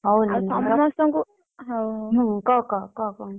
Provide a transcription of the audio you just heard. ହଉ।